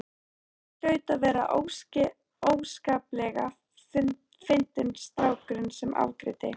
Hann hlaut að vera óskaplega fyndinn strákurinn sem afgreiddi.